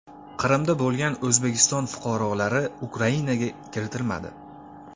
Qrimda bo‘lgan O‘zbekiston fuqarolari Ukrainaga kiritilmadi.